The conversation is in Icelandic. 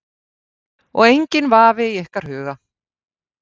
Kristján: Og enginn vafi í ykkar huga?